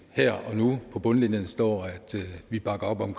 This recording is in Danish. her og nu og på bundlinjen står at vi bakker op om